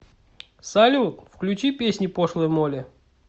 салют включи песни пошлой молли